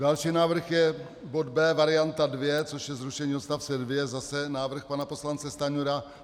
Další návrh je bod B varianta 2, což je zrušení odstavce 2, zase návrh pana poslance Stanjury.